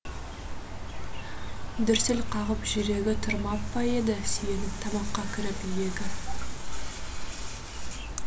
дүрсіл қағып жүрегі тұрмап па еді сүйеніп тамаққа кіріп иегі